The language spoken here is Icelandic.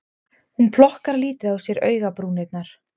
Hún plokkar lítið á sér augabrúnirnar